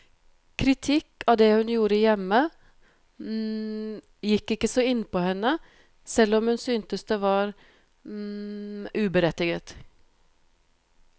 Kritikk av det hun gjorde hjemme gikk ikke så innpå henne, selv om hun syntes det var uberettiget.